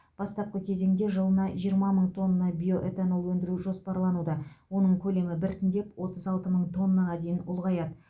бастапқы кезеңде жылына жиырма мың тонна биоэтанол өндіру жоспарлануда оның көлемі біртіндеп отыз алты мың тоннаға дейін ұлғаяды